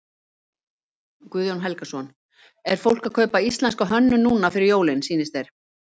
Guðjón Helgason: Er fólk að kaupa íslenska hönnun núna fyrir jólin sýnist þér?